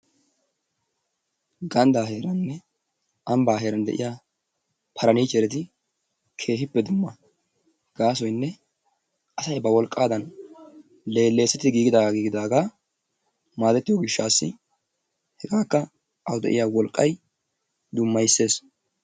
Ganddaa heeraaninne ambbaa heeran de"iya parniichchereti keehippe dumma gaasoyinne asayi ba wolqqaadan leelleesetti giigidaaga giigidaaga maadettiyo gishshaassi hegaakka awu de"iya wolqqayi dummayisses.